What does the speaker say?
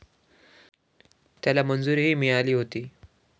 त्याला मंजुरीही मिळाली होती.